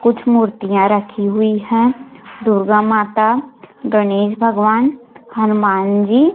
कुछ मूर्तियां रखी हुई हैं दुर्गा माता गणेश भगवान हनुमान जी।